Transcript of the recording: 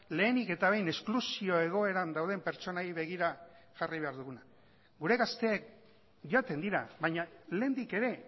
lehenik eta behin esklusio egoeran dauden pertsonei begira jarri behar duguna gure gazteek joaten dira baina lehendik ere